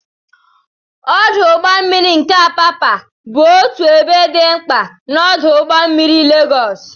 Ọdụ ụgbọ mmiri nke Apapa bụ otu ebe dị mkpa na ọdụ ụgbọ mmiri Legos.